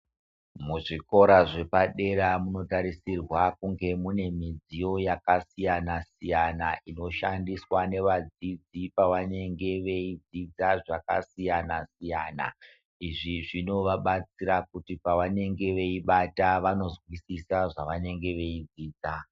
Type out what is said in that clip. Muzvikora zvepadera munotarisirwa kunge mune midziyo yakasiyana-siyana inoshandiswa nevadzidzi pavanenge veiita zvakasiyana-siyana, izvi zvinovabatsira kuti pavanenge veibata vanozwisisa zvavanenge veidzidza.